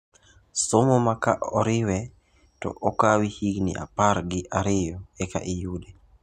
Somo ma ka oriwe to okawi higini apar gi ariyo eka iyude.